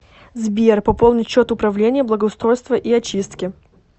сбер пополнить счет управление благоустройства и очистки